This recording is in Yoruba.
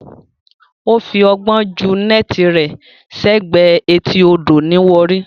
Ó fi ọgbọ́n jù neti rẹ sẹ́gbẹ̀ẹ́ etí odò ní Warri